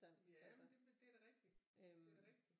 Jamen det er da rigtig det der da rigtig